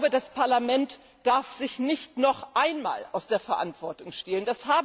Das Parlament darf sich nicht noch einmal aus der Verantwortung stehlen.